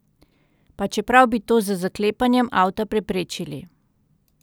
Pa čeprav bi to z zaklepanjem avta preprečili.